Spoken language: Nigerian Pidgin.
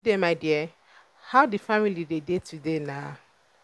good day my dear. how the family dey dey today na?